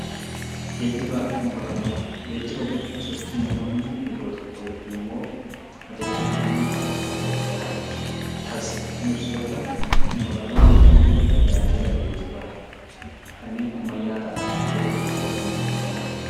Geejjiba jechuun sochii namoonni iddoo tokkoo yookiin immoo adeemsa namoonni bakka tokkoo iddoo biraatti taasisan kan ibsu yoo ta'u, konkolaataawwan tajaajila geejjibaaf kanneen ammayyaa ta'an tajaajila geejjibaa kennuuf kan oolanidha.